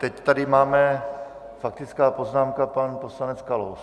Teď tady máme faktickou poznámku - pan poslanec Kalous.